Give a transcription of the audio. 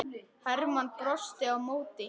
Hermann brosti á móti.